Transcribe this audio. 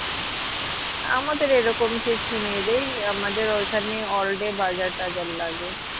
আমাদের এরকম কিছু নেই রে আমাদের ঐখানে all day বাজার টাজার লাগে